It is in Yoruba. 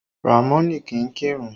Ramoni kì í kírun